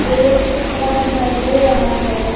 एक कमरा दिखाई दे रहा है।